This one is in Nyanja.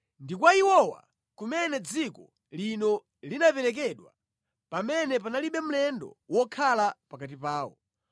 (Ndi kwa iwowa kumene dziko lino linaperekedwa pamene panalibe mlendo wokhala pakati pawo).